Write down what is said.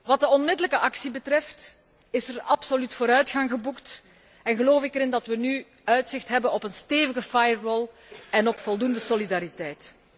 Wat de onmiddellijke actie betreft is er absoluut vooruitgang geboekt en geloof ik erin dat we nu uitzicht hebben op een stevige firewall en op voldoende solidariteit.